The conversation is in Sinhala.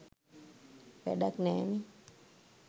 වැඩක් නෑනෙ.